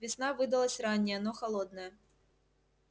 весна выдалась ранняя но холодная